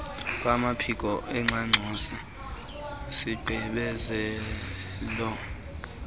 kwamaphiko engxangxosi igqibezela